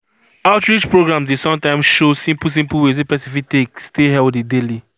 outreach programs dey sometimes show simple simple ways wey person fit take stay healthy daily